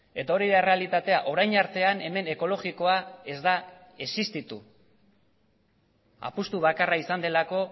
eta hori da errealitatea orain artean hemen ekologikoa ez da existitu apustu bakarra izan delako